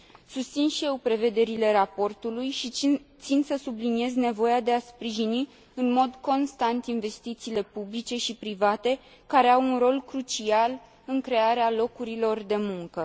Susțin și eu prevederile raportului și țin să subliniez nevoia de a sprijini în mod constant investițiile publice și private, care au un rol crucial în crearea locurilor de muncă.